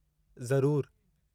ज़रूर!